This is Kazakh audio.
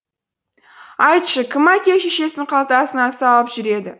айтшы кім әке шешесін қалтасына салып жүреді